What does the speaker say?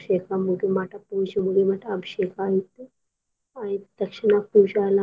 ಅಭಿಷೇಕ ಮುಗಿ ಮಟಾ ಪೂಜಿ ಮುಗಿ ಮಟಾ ಅಭಿಷೇಕ ಆಯ್ತ. ಆಯ್ತ ತಕ್ಷಣ ಪೂಜೆ ಎಲ್ಲಾ